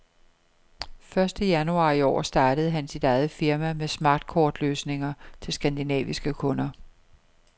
Første januar i år startede han sit eget firma med smartkort løsninger til skandinaviske kunder.